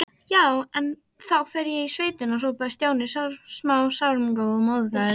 Já, en þá fer ég í sveitina hrópaði Stjáni sármóðgaður.